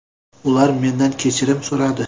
Ular mendan kechirim so‘radi.